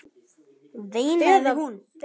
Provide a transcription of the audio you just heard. veinaði hún.